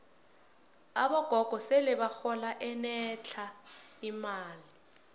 abogogo sele bahola enetlha imali